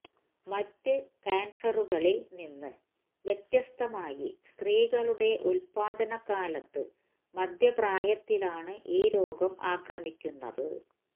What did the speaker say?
മറ്റ് കാന്സറുകളില് നിന്ന് വ്യത്യസ്തമായി സ്ത്രീകളുടെ ഉത്പാദനകാലത്ത് മധ്യപ്രായത്തിലാണ് ഈ രോഗം ആക്രമിക്കുന്നത്